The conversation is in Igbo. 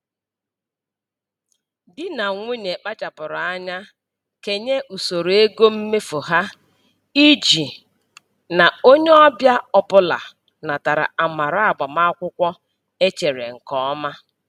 Di na nwunye kpachapụrụ anya kenye usoro ego mmefu ha iji na onye ọbịa ọbụla natara amara agbamakwụkwọ e chere nke ọma.